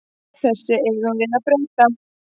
Þessu eigum við að breyta.